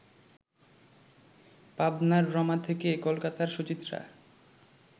পাবনার রমা থেকে কলকাতার সুচিত্রা